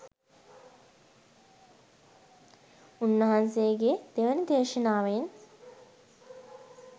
උන්වහන්සේගේ දෙවැනි දේශනාවෙන්